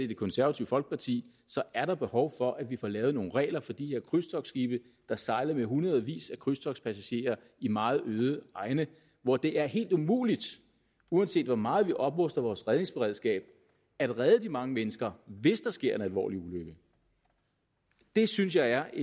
det konservative folkeparti er der behov for at vi får lavet nogle regler for de her krydstogtsskibe der sejler med hundredvis af krydstogtspassagerer i meget øde egne hvor det er helt umuligt uanset hvor meget vi opruster vores redningsberedskab at redde de mange mennesker hvis det sker en alvorlig ulykke det synes jeg er